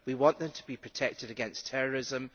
we want them to be protected against terrorism.